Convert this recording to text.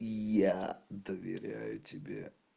я доверяю тебе